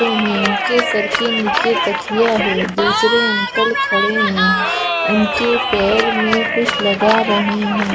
हैं उनके सर के नीचे तकखिया है दूसरे अंकल खड़े हैं उनके पैर में कुछ लगा रहे हैं।